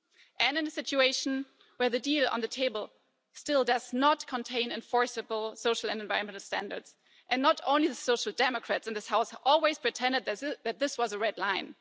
and in a situation where the deal on the table still does not contain enforceable social and environmental standards and not only the Social Democrats in this House always pretended that this was a red line.